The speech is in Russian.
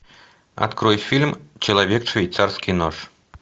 открой фильм человек швейцарский нож